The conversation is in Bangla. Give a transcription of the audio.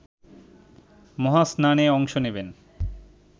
মহাস্নানে অংশ নেবেন